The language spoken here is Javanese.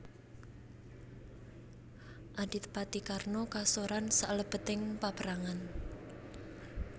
Adipati Karna kasoran salebeting paperangan